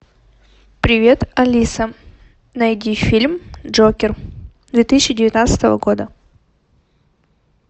привет алиса найди фильм джокер две тысячи девятнадцатого года